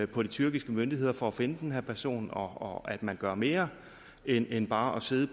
på de tyrkiske myndigheder for at finde den her person og at man gør mere end end bare at sidde